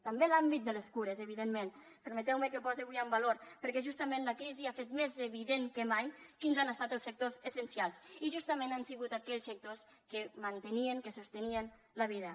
també l’àmbit de les cures evidentment permeteu me que el posi avui en valor perquè justament la crisi ha fet més evident que mai quins han estat els sectors essencials i justament han sigut aquells sectors que mantenien que sostenien la vida